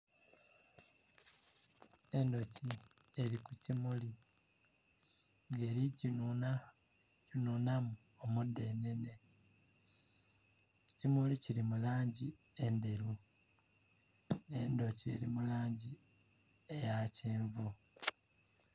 Endhuki eri ku kimuli nga eri kinhunamu omudhenene ekimuli kili mu langi endheru endhuki eri mulangi eya kyenvu.